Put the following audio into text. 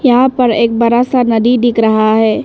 यहां पर एक बड़ा सा नदी दिख रहा है।